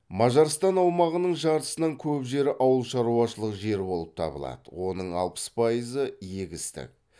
мажарстан аумағының жартысынан көп жері ауыл шаруашылық жері болып табылады оның алпыс пайызы егістік